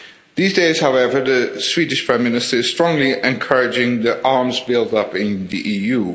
These days, however, the Swedish Prime Minister is strongly encouraging the arms build up in the EU.